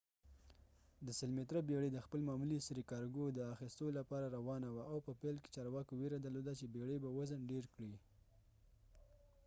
د ۱۰۰ متره بيړي د خپل معمولي سرې کارګو د اخیستو لپاره روانه وه، او په پیل کې چارواکو ویره درلوده چې بيړي به وزن ډیر کړي